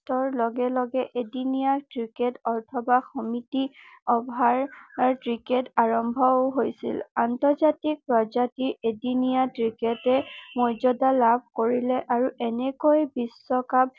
ৰ লগে লগে এদিনীয়া ক্ৰিকেট অৰ্থবা সমিটি অভাৰ ক্ৰিকেট আৰম্ভও হৈছিল আন্তজাৰ্তিক পৰ্য্যায়ৰ এদিনীয়া ক্ৰিকেটে ময্যদা লাভ কৰিলে আৰু এনেকৈ ৰিলে আৰু এনেকৈ বিশ্বকাপ